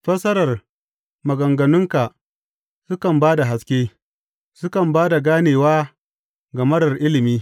Fassarar maganganunka sukan ba da haske; sukan ba da ganewa ga marar ilimi.